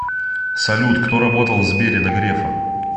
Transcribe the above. салют кто работал в сбере до грефа